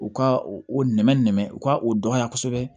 U ka o nɛmɛ nɛmɛ u ka o dɔnya kosɛbɛ